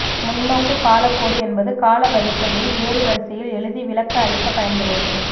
முன் நோக்கு காலக்கோடு என்பது கால வரிசையை எறுவரிசையில் எழுதி விளக்க அளிக்க பயன்படுவது